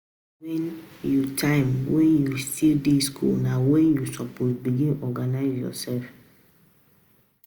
Di time wen you time wen you still dey skool na wen you suppose begin organise yoursef.